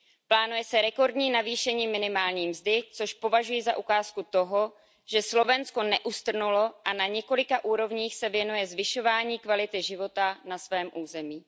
Plánuje se rekordní navýšení minimální mzdy, což považuji za ukázku toho, že Slovensko neustrnulo a na několika úrovních se věnuje zvyšování kvality života na svém území.